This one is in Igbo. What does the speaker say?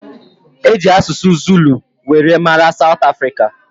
Eji asụsụ Zulu were mara south africa